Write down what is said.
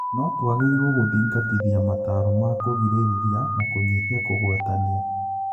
"No-tũagĩrĩirwo gũthingatithia mataro ma-kũgirĩrĩria na kũnyihia kũgwatanio."